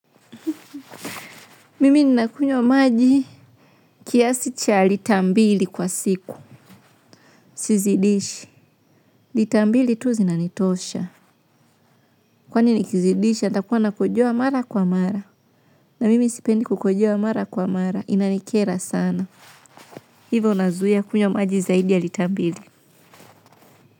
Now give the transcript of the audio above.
Mimi ninakunywa maji kiasi cha lita mbili kwa siku. Sizidishi, lita mbili tu zinanitosha, kwani nikizidisha, nitakuwa nakojoa mara kwa mara. Na mimi sipendi kukojoa mara kwa mara, inanikera sana. Hivyo nazuia kunywa maji zaidi ya lita mbili.